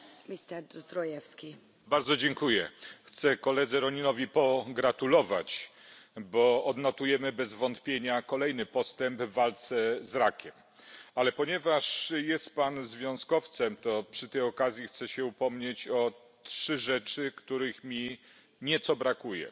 Pani Przewodnicząca! Chcę koledze Rolinowi pogratulować, bo odnotujemy bez wątpienia kolejny postęp w walce z rakiem. Ale ponieważ jest Pan związkowcem, to przy tej okazji chcę się upomnieć o trzy rzeczy, których mi nieco brakuje.